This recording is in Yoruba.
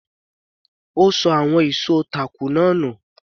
Ó ṣọ àwọn ìṣó táàkù náà nù.